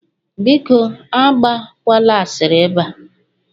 Biko Agba kwala asịrị ebe a